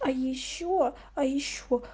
а ещё а ещё